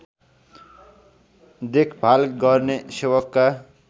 देखभाल गर्ने सेवकका